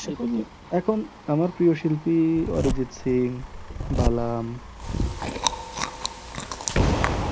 এখন এখন আমার প্রিয় শিল্পী Arijit sing বালাম